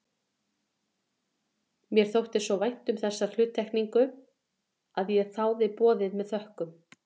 Mér þótti svo vænt um þessa hluttekningu að ég þáði boðið með þökkum.